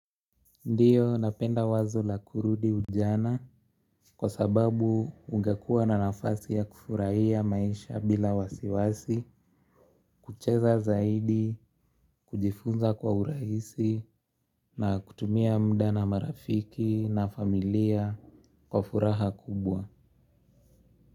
Ndiyo napenda wazo la kurudi ujana kwa sababu ungekuwa na nafasi ya kufurahia maisha bila wasiwasi, kucheza zaidi, kujifunza kwa urahisi na kutumia muda na marafiki na familia kwa furaha kubwa.